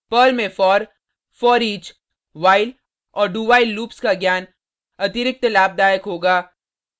Perl में for foreach while और dowhile loops का ज्ञान अतिरिक्त लाभदायक होगा